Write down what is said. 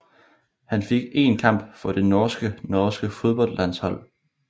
Han fik én kamp for det norske norske fodboldlandshold